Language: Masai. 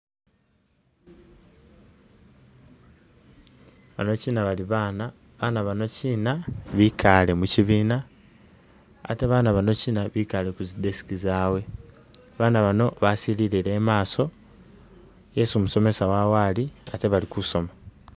Ano kyina baali baana baana bano kyina bikale mukyibina ate baana bano kyina bekale kuzi desk zawe baana bano basilillie imaso yesi musomesa wawe ali ate bakusoma